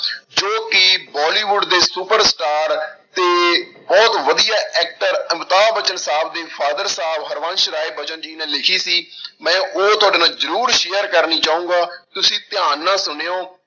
ਜੋ ਕਿ ਬੋਲੀਵੁਡ ਦੇ super star ਤੇ ਬਹੁਤ ਵਧੀਆ actor ਅਮਿਤਾਬ ਬੱਚਨ ਸਾਹਬ ਦੇ ਫਾਦਰ ਸਾਹਬ ਹਰਬੰਸ ਰਾਏ ਬਚਨ ਜੀ ਨੇ ਲਿਖੀ ਸੀ ਮੈਂ ਉਹ ਤੁਹਾਡੇ ਨਾਲ ਜ਼ਰੂਰ share ਕਰਨੀ ਚਾਹਾਂਗਾ, ਤੁਸੀਂ ਧਿਆਨ ਨਾਲ ਸੁਣਿਓ